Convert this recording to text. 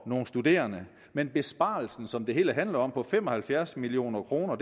nogle studerende men besparelsen som det hele handler om på fem og halvfjerds million kroner